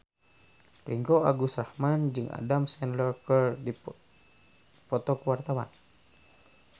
Ringgo Agus Rahman jeung Adam Sandler keur dipoto ku wartawan